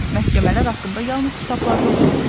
Məhkəmələr haqqında yalnız kitablarda oxumuşdu.